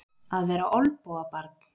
Að vera olnbogabarn